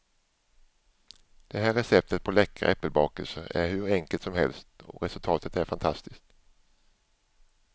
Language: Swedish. Det här receptet på läckra äppelbakelser är hur enkelt som helst och resultatet är fantastiskt.